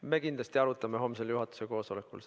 Me kindlasti arutame seda homsel juhatuse koosolekul.